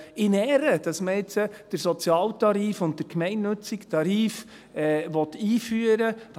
In Ehren, dass man jetzt den Sozialtarif und den gemeinnützigen Tarif einführen will.